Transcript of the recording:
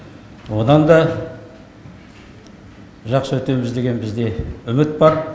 одан да жақсы өтеміз деген бізде үміт бар